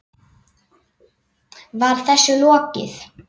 Var þessu lokið?